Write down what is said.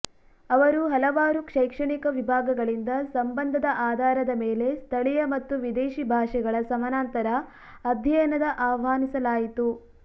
ಅವರು ಹಲವಾರು ಶೈಕ್ಷಣಿಕ ವಿಭಾಗಗಳಿಂದ ಸಂಬಂಧದ ಆಧಾರದ ಮೇಲೆ ಸ್ಥಳೀಯ ಮತ್ತು ವಿದೇಶಿ ಭಾಷೆಗಳ ಸಮಾನಾಂತರ ಅಧ್ಯಯನದ ಆಹ್ವಾನಿಸಲಾಯಿತು